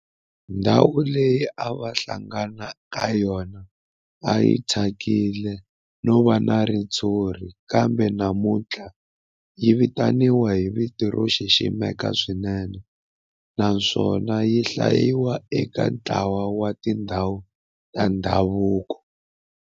Ndhawu leyi a va hlangana ka yona a yi thyakile no va na ritshuri kambe namuntlha yi vitaniwa hi vito ro xiximeka swinene naswona yi hlayiwa eka ntlawa wa tindhawu ta ndhavuko.